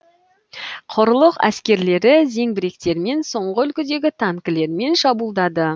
құрлық әскерлері зеңбіректермен соңғы үлгідегі танкілермен шабуылдады